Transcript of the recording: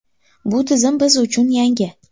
Bu tizim biz uchun yangi.